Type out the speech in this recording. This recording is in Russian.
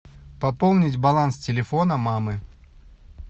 пополнить баланс телефона мамы